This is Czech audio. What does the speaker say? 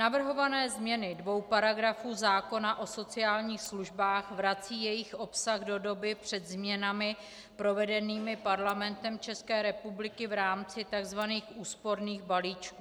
Navrhované změny dvou paragrafů zákona o sociálních službách vracejí jejich obsah do doby před změnami provedenými Parlamentem České republiky v rámci tzv. úsporných balíčků.